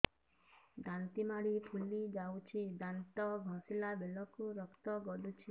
ଦାନ୍ତ ମାଢ଼ୀ ଫୁଲି ଯାଉଛି ଦାନ୍ତ ଘଷିଲା ବେଳକୁ ରକ୍ତ ଗଳୁଛି